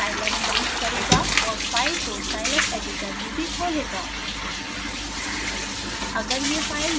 यह स्वतः ही scilab लॉन्च करेगा और फाइल को scilab editor में भी खोलेगा